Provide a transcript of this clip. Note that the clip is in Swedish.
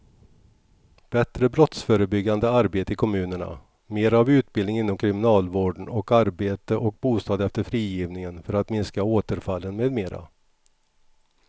Bättre brottsförebyggande arbete i kommunerna, mera av utbildning inom kriminalvården och arbete och bostad efter frigivningen för att minska återfallen med mera.